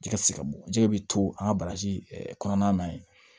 Jɛgɛ ti se ka bɔ jɛgɛ bɛ to an ka bagaji kɔnɔna na yen